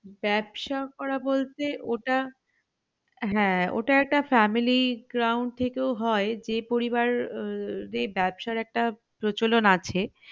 ব্যাবসা করা বলতে ওটা হ্যাঁ ওটা একটা family ground থেকেও হয় যে পরিবার উহ যে ব্যবসার একটা প্রচলন আছে